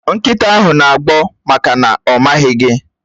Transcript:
Nkịta ahụ na-agbọ́ maka na ọ̀ maghị gi